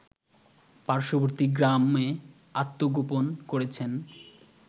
পার্শ্ববর্তী গ্রামে আত্মগোপন করেছেন